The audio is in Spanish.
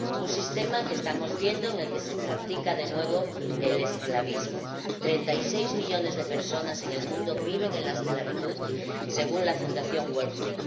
Un sistema en el que estamos viendo que se practica de nuevo el esclavismo 36 millones de personas en el mundo viven en la esclavitud, según la fundación Walk Free.